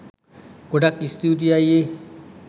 ගොඩක් ස්තූතියි අයියේ